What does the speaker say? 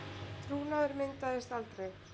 Trúnaður myndaðist aldrei